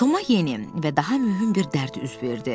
Toma yeni və daha mühüm bir dərd üz verdi.